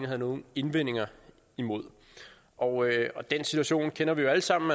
havde nogen indvendinger imod og den situation kender vi jo alle sammen